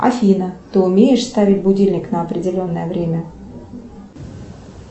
афина ты умеешь ставить будильник на определенное время